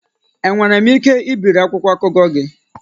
Enwere m ike ibiri akwụkwọ akụkọ gị?